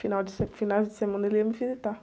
Final de se, finais de semana ele ia me visitar.